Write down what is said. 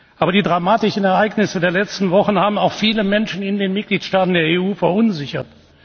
Aber die dramatischen Ereignisse der letzten Wochen haben auch viele Menschen in den Mitgliedstaaten der EU verunsichert.